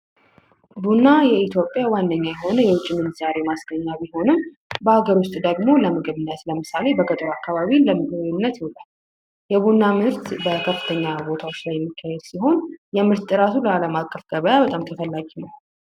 ቡና ዋነኛ የሆነ የኢትዮጵያ የውጭ ምንዛሬ ማስገኛ ቤሆንም በሀገር ውስጥ ደግሞ ለምሳሌ በገጠር አካባቢ ለምግብነት ይውላል። የቡና ምርት በከፍተኛ ቦታዎች ላይ የሚካሄድ ሲሆን የምርት ጥራቱ ለአለም አቀፍ ገበያ በጣም ተፈላጊ ነው።